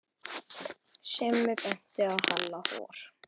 Simmi benti á Halla hor.